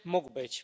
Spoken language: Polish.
mógł być